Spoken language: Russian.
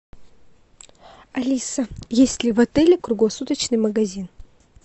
алиса есть ли в отеле круглосуточный магазин